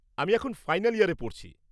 -আমি এখন ফাইনাল ইয়ারে পড়ছি।